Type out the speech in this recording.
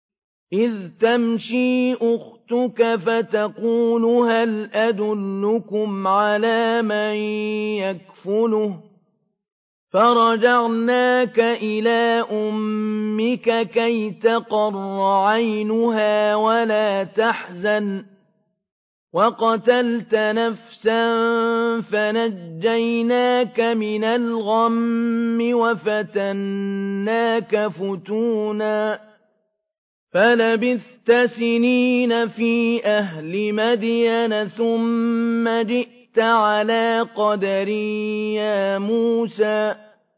إِذْ تَمْشِي أُخْتُكَ فَتَقُولُ هَلْ أَدُلُّكُمْ عَلَىٰ مَن يَكْفُلُهُ ۖ فَرَجَعْنَاكَ إِلَىٰ أُمِّكَ كَيْ تَقَرَّ عَيْنُهَا وَلَا تَحْزَنَ ۚ وَقَتَلْتَ نَفْسًا فَنَجَّيْنَاكَ مِنَ الْغَمِّ وَفَتَنَّاكَ فُتُونًا ۚ فَلَبِثْتَ سِنِينَ فِي أَهْلِ مَدْيَنَ ثُمَّ جِئْتَ عَلَىٰ قَدَرٍ يَا مُوسَىٰ